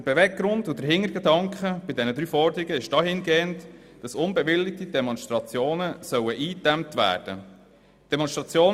Der Beweggrund und der Hintergedanke bei den drei Forderungen ist, dass unbewilligte Demonstrationen eingedämmt werden sollen.